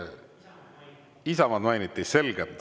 Isamaad mainiti?